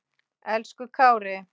Elsku Kári.